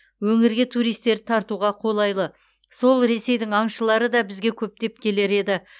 өңірге туристерді тартуға қолайлы сол ресейдің аңшылары да бізге көптеп келер еді